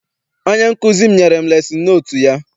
Onye nkụzi m nyere m lesin notu ya.